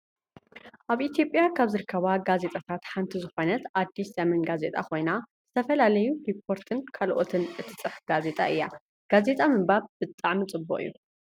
ኣብ ኢትዮጵያ ካብ ዝርከባ ጋዜጣታት ሓንቲ ዝኮነት ኣዲስ ዘመን ጋዜጣ ኮይና ዝተፈላለዩ ሪፖርትን ካልኦትን እትፅሕፍ ጋዜጣ እያ። ጋዜጣ ምንባብ ብጣዕሚ ፅቡቅ እዩ።